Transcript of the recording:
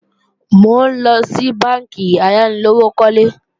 Mò ńlọ sí bánkì ayánilówókọ́lé